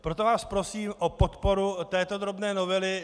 Proto vás prosím o podporu této drobné novely.